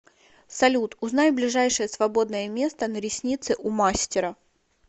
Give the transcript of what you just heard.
салют узнай ближайшее свободное место на ресницы у мастера